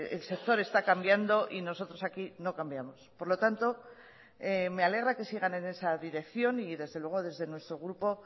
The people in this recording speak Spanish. el sector está cambiando y nosotros aquí no cambiamos por lo tanto me alegra que sigan en esa dirección y desde luego desde nuestro grupo